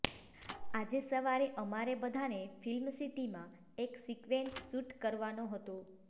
આજે સવારે અમારે બધાને ફ્લ્મિ સિટીમાં એક સીક્વેન્ટ શૂટ કરવાનો હતો